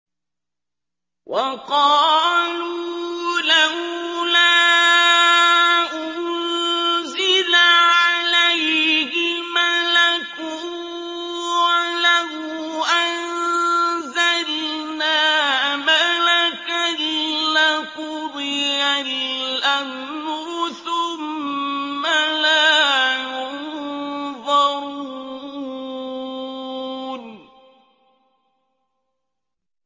وَقَالُوا لَوْلَا أُنزِلَ عَلَيْهِ مَلَكٌ ۖ وَلَوْ أَنزَلْنَا مَلَكًا لَّقُضِيَ الْأَمْرُ ثُمَّ لَا يُنظَرُونَ